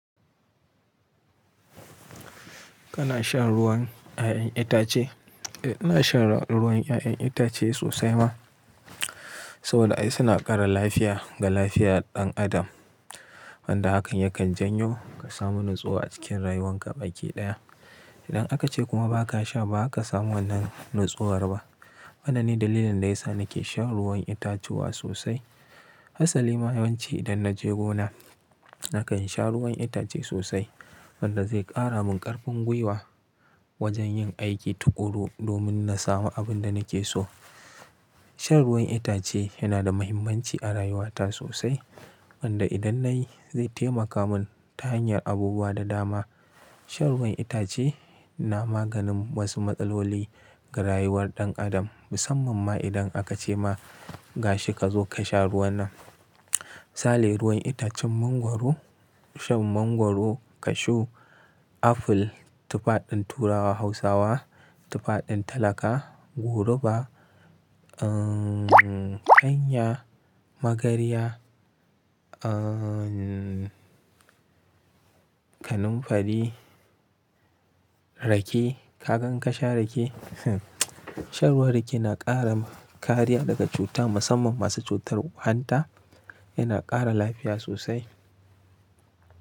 Kana shan ruwan 'ya'yan itace? Eh, ina shan ruwan 'ya'yan itace sosai ma. Saboda ai suna ƙara lafiya ga lafiya ɗan adam. Wanda hakan yakan janyo ka samu natsuwa a cikin rayuwanka baki ɗaya. Idan aka ce kuma ba ka sha, ba ka samu wannan nutsuwar ba. Mana ne dalilin da ya sa nake shan ruwan itatuwa sosai. Hassali ma yawanci idan naje gona nakan sha ruwan itace sosai. Wanda zai ƙara min ƙarfin gwiwa wajen yin aiki tukuru domin na samu abin da nake so. Shan ruwan itace yana da muhimmanci a rayuwata sosai. Wanda idan nayi zai taimaka mun ta hanyar abubuwa da dama. Shan ruwan itace na maganin wasu matsaloli ga rayuwar ɗan adam. Musamman ma idan aka ce ma gashi ka zo ka sha ruwan nan. Misali ruwan itacen mangwaro, shan mangwaro, kashu, aful, tufa ɗin turawa Hausawa, tufa ɗin talaka, goruba, kanya, magarya, kananfari, rake. Ka gan ka sha rake? Shan ruwan rake na ƙara kariya daga cuta musamman masu cutar hanta. Yana ƙara lafiya sosai.